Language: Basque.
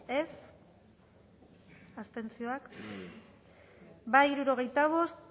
dezakegu bozketaren emaitza onako izan da hirurogeita hamalau eman dugu bozka hirurogeita bost